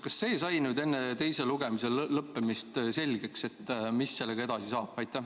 Kas see sai nüüd enne teise lugemise lõppemist selgeks, mis sellega edasi saab?